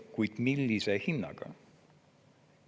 Kuid millise hinnaga?